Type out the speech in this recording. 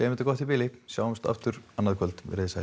þetta gott í bili sjáumst aftur annað kvöld verið sæl